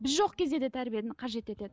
біз жоқ кезде де тәрбиені қажет етеді